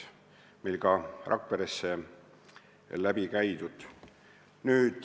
Meil Rakveres on see läbi tehtud.